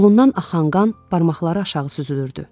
Qolundan axan qan barmaqları aşağı süzülürdü.